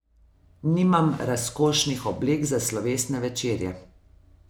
Nimam razkošnih oblek za slovesne večerje.